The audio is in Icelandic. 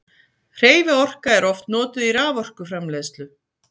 hreyfiorka er oft notuð í raforkuframleiðslu